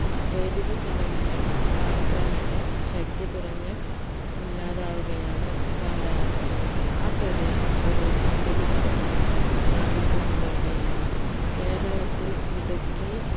പ്രേരിത ചലനങ്ങൾ കാലക്രമേണെ ശക്തി കുറഞ്ഞ് ഇല്ലാതാവുകയാണ് സാധാരണ ചെയ്യാറ് ആ പ്രദേശം ഒരു സന്തുലിതാവസ്ഥ പ്രാപിക്കുന്നതോടെയാണ് ഇത് കേരളത്തിൽ ഇടുക്കി